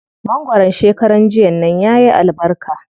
Mangwaron shekaran nan yayi albarka.